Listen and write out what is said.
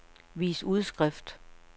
vis udskrift